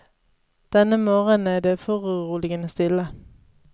Denne morgenen er det foruroligende stille.